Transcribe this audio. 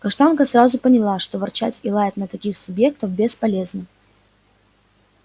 каштанка сразу поняла что ворчать и лаять на таких субъектов бесполезно